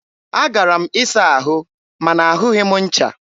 a gara m ịsa ahụ ma na ahụghị m ncha.